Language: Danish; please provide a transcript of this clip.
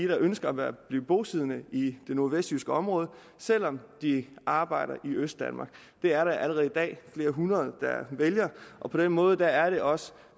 der ønsker at blive bosiddende i det nordvestjyske område selv om de arbejder i østdanmark det er der allerede i dag flere hundrede der vælger og på den måde er det også